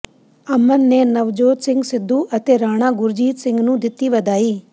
ਅਮਨ ਨੇ ਨਵਜੋਤ ਸਿੰਘ ਸਿੱਧੂ ਅਤੇ ਰਾਣਾ ਗੁਰਜੀਤ ਸਿੰਘ ਨੂੰ ਦਿੱਤੀ ਵਧਾਈ